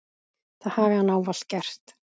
Það hafi hann ávallt gert.